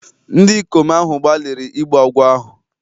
Ndị ikom ahụ gbalịrị igbu agwọ ahụ